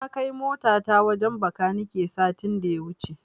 Na kai motata wajen Bakanike satin da ya wuce.